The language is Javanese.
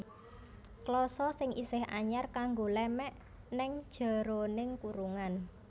Klasa sing isih anyar kanggo lémèk ning jeroning kurungan